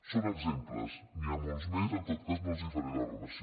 són exemples n’hi ha molts més en tot cas no els en faré la relació